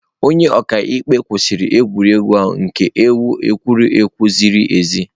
Onye ọka ikpe kwụsịrị egwuregwu ahụ ka ewe egwuregwu ziri ezi.